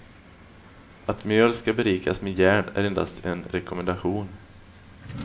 Att mjöl skall berikas med järn är endast en rekommendation.